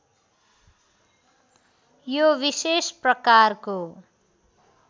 यो विशेष प्रकारको